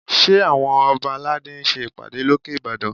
Ṣé àwọn ọba aládé ń ṣe ìpàdé lókè Ìbàdàn?